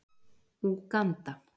Úganda